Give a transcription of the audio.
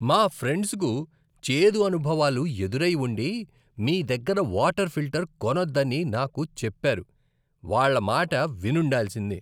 మా ఫ్రెండ్స్కు చేదు అనుభవాలు ఎదురై ఉండి, మీ దగ్గర వాటర్ ఫిల్టర్ కొనొద్దని నాకు చెప్పారు. వాళ్ళ మాట విని ఉండాల్సింది.